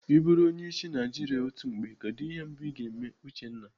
I bụrụ onyeisiala Naijiria otu mgbe, kedụ ihe mbụ Ị ga-eme Uchenna?